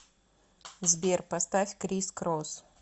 сбер поставь крис крос